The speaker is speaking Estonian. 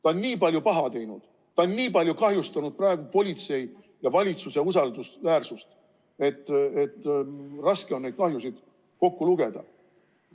Ta on nii palju paha teinud, ta on nii palju kahjustanud politsei ja valitsuse usaldusväärsust, et raske on neid kahjusid kokku lugeda.